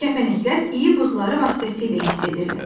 Kəpənəklər iyi bığları vasitəsilə hiss edirlər.